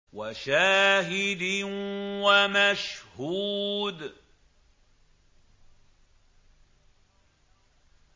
وَشَاهِدٍ وَمَشْهُودٍ